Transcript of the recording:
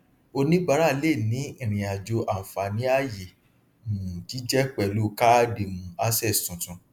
oníbàrà lè ní ìrìnàjò ànfàní ayé um jíjẹ pẹlú káàdì um access tuntun